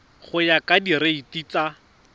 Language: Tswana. go ya ka direiti tsa